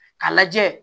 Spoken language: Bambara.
K'a lajɛ